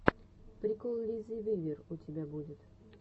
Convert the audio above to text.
прикол лизы вивер у тебя будет